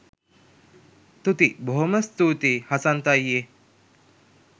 තුති බොහොම ස්තූතියි හසන්ත අයියේ